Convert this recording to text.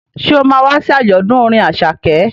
Ṣé o ma wá sí àjọ̀dún orin Àṣàkẹ́?